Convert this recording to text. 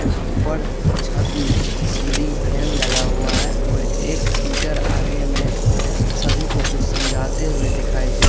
ऊपर छत में सीलिंग फैन लगा हुआ है और एक टीचर आगे में सभी को कुछ समझाते हुए दिखाई दे।